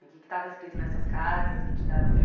O quê que estava escrito nessas cartas que te dava assim eh